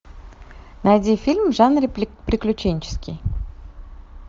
найди фильм в жанре приключенческий